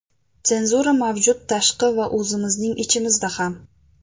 Senzura mavjud, tashqi va o‘zimizning ichimizda ham.